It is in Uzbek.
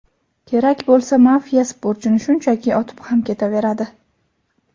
Kerak bo‘lsa mafiya sportchini shunchaki otib ham ketaveradi.